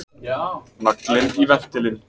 Naglinn í ventilinn!